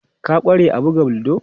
Ka ƙware a buga ludo?